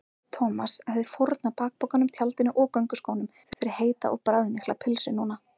Thomas hefði fórnað bakpokanum, tjaldinu og gönguskónum fyrir heita og bragðmikla pylsu núna.